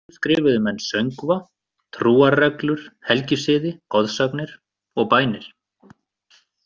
Einnig skrifuðu menn söngva, trúarreglur, helgisiði, goðsagnir og bænir.